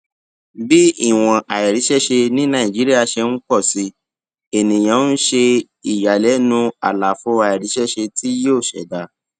bí ìwọn àìríṣẹṣe ní nàìjíríà ṣe ń pọ sí ènìyàn ń ṣe ìyàlẹnu àlàfo àìríṣẹṣe tí yóò ṣẹdá